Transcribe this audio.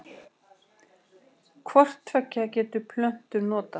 Hvort tveggja geta plöntur notað.